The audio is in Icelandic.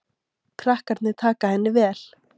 Krakkarnir taka henni vel.